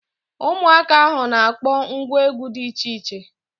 Ụmụaka ahụ na akpọ ngwa egwu dị iche iche